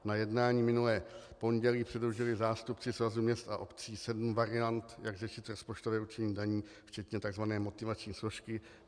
Na jednání minulé pondělí předložili zástupci Svazu měst a obcí sedm variant, jak řešit rozpočtové určení daní včetně tzv. motivační složky.